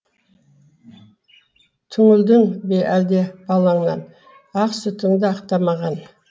түңілдің бе әлде балаңнан ақ сүтіңді ақтамаған